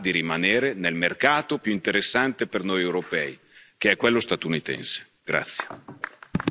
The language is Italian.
Diamogli la possibilità di rimanere nel mercato più interessante per noi europei, che è quello statunitense.